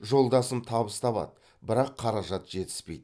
жолдасым табыс табады бірақ қаражат жетіспейді